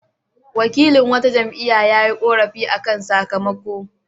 Wakilin wata jam'iyya ya yi ƙorafi kan sakamako.